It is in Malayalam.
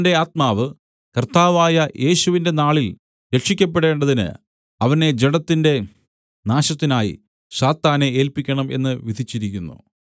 ആത്മാവ് കർത്താവായ യേശുവിന്റെ നാളിൽ രക്ഷിയ്ക്കപ്പെടേണ്ടതിന് അവനെ ജഡത്തിന്റെ നാശത്തിനായി സാത്താനെ ഏല്പിക്കണം എന്ന് വിധിച്ചിരിക്കുന്നു